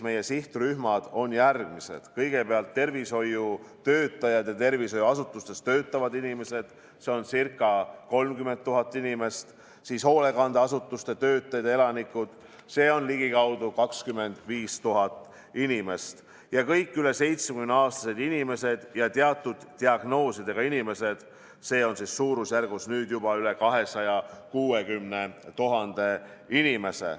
Meie sihtrühmad on järgmised: kõigepealt tervishoiutöötajad ja tervishoiuasutustes töötavad inimesed, see on ca 30 000 inimest, siis hoolekandeasutuste töötajad ja elanikud, see on ligikaudu 25 000 inimest, ja kõik üle 70-aastased inimesed ja teatud diagnoosidega inimesed, see on suurusjärgus nüüd juba üle 260 000 inimese.